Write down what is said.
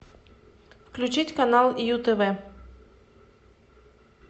включить канал ю тв